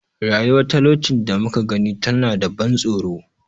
Rayuwar talaucin da muka gani tana da ban tsoro.